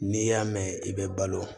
N'i y'a mɛn i bɛ balo